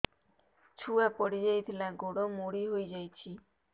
ଛୁଆ ପଡିଯାଇଥିଲା ଗୋଡ ମୋଡ଼ି ହୋଇଯାଇଛି